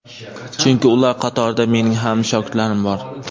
Chunki ular qatorida mening ham shogirdlarim bor.